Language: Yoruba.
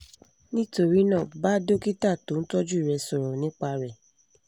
nítorí náà bá dókítà tó ń tọ́jú rẹ sọ̀rọ̀ nípa rẹ̀